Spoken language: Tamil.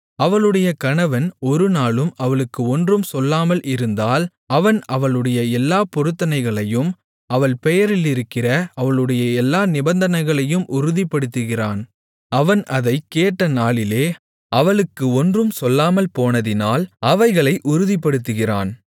அவளுடைய கணவன் ஒருநாளும் அவளுக்கு ஒன்றும் சொல்லாமல் இருந்தால் அவன் அவளுடைய எல்லாப் பொருத்தனைகளையும் அவள் பெயரிலிருக்கிற அவளுடைய எல்லா நிபந்தனைகளையும் உறுதிப்படுத்துகிறான் அவன் அதைக் கேட்ட நாளிலே அவளுக்கு ஒன்றும் சொல்லாமல்போனதினால் அவைகளை உறுதிப்படுத்துகிறான்